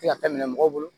Se ka taa minɛ mɔgɔw bolo